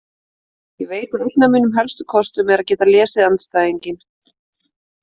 Ég veit að einn af mínum helstu kostum er að geta lesið andstæðinginn.